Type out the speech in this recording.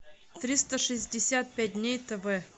триста шестьдесят пять дней тв